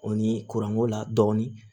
O ni kuranko la dɔɔnin